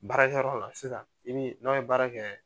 Baarakɛyɔrɔ la sisan i ni n'a ye baara kɛ